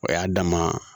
O y'a dama